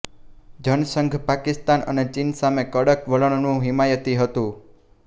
જનસંઘ પાકિસ્તાન અને ચીન સામે કડક વલણનું હિમાયતી હતું